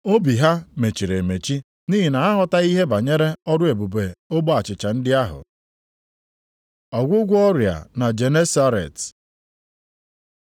Obi ha mechiri emechi nʼihi na ha aghọtaghị ihe banyere ọrụ ebube ogbe achịcha ndị ahụ. Ọgwụgwọ ọrịa na Genesaret